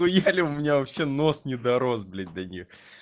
поехали у меня вообще нос не дорос блять до них